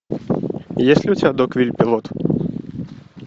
есть ли у тебя догвилль пилот